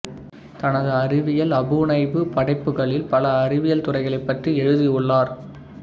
தனது அறிவியல் அபுனைவு படைப்புகளில் பல அறிவியல் துறைகளைப் பற்றி எழுதியுள்ளார்